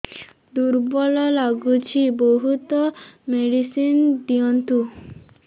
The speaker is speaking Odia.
ଦୁର୍ବଳ ଲାଗୁଚି ବହୁତ ମେଡିସିନ ଦିଅନ୍ତୁ